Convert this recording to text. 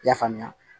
I y'a faamuya